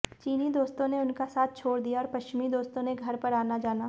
चीनी दोस्तों ने उनका साथ छोड़ दिया और पश्चिमी दोस्तों ने घर पर आना जाना